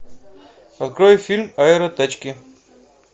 открой фильм аэротачки